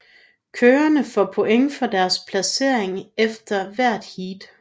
Kørerne får point for deres placering efter hvert heat